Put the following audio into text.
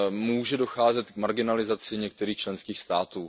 Může docházet k marginalizaci některých členských států.